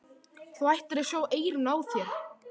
Þú ættir að sjá eyrun á þér!